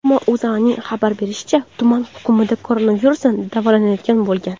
Ammo O‘zAning xabar berishicha, tuman hokimida koronavirusdan davolanayotgan bo‘lgan.